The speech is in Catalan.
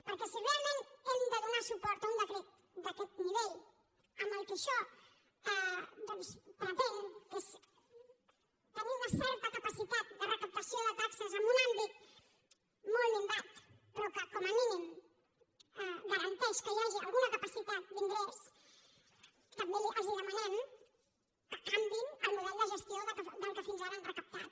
perquè si realment hem de donar suport a un decret d’aquest nivell amb el que això doncs pretén que és tenir una certa capacitat de recaptació de taxes en un àmbit molt minvat però que com a mínim garanteix que hi hagi alguna capacitat d’ingrés també els demanem que canviïn el model de gestió amb què fins ara han recaptat